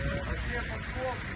Gözlə bax, gözlə.